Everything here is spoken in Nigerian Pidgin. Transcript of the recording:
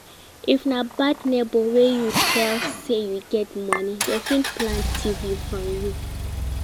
If na bad neighbors wey you tell say you get money Dem fit plan thief from you